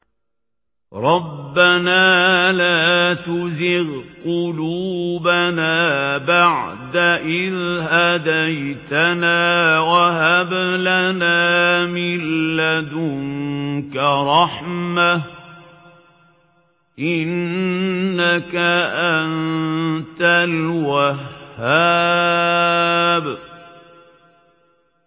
رَبَّنَا لَا تُزِغْ قُلُوبَنَا بَعْدَ إِذْ هَدَيْتَنَا وَهَبْ لَنَا مِن لَّدُنكَ رَحْمَةً ۚ إِنَّكَ أَنتَ الْوَهَّابُ